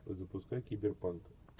запускай киберпанк